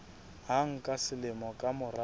hang ka selemo ka mora